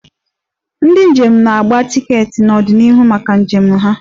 Ndị njem na-agba tiketi n'ọdịnihu maka njem ha.